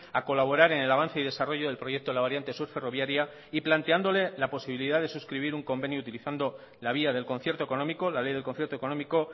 a colaborar en el avance y desarrollo del proyecto de la variante sur ferroviaria y planteándole la posibilidad de suscribir un convenio utilizando la vía del concierto económico la ley del concierto económico